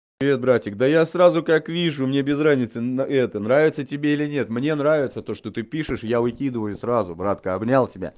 привет братик да я сразу как вижу мне без разницы на это нравится тебе или нет мне нравится то что ты пишешь я выкидываю сразу братка обнял тебя